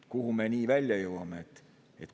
Kuhu me nii välja jõuame?